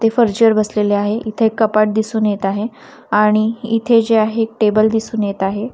ते फर्जीवर बसलेले आहे इथे एक कपाट दिसून येत आहे आणि इथे जे आहे एक टेबल दिसून येत आहे.